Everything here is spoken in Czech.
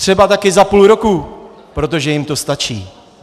Třeba také za půl roku, protože jim to stačí.